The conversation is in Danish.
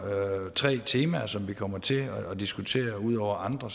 tre temaer som vi kommer til at diskutere ud over andre